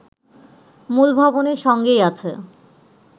মূল ভবনের সঙ্গেই আছে